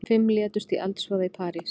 Fimm létust í eldsvoða í París